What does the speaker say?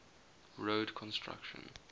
road construction